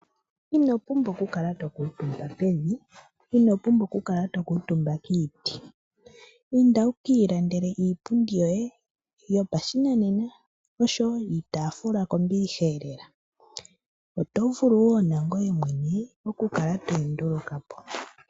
Ino pumbwa okukala to kuutumba pevi, ino pumbwa okukala to kuutumba kiiti. Inda wu ka ilandele iipundi yoye yopashinanena noshowo iitaafula kombiliha lela. Oto vulu wo nangoye mwene okukala to yi nduluka po.